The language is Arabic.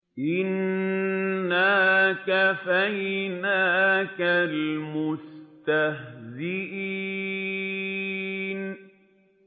إِنَّا كَفَيْنَاكَ الْمُسْتَهْزِئِينَ